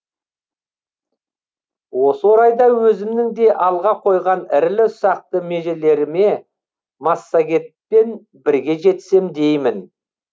осы орайда өзімнің де алға қойған ірілі ұсақты межелеріме массагетпен бірге жетсем деймін